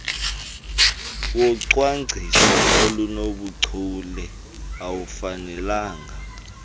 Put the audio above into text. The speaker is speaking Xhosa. wocwangciso olunobuchule awufanelanga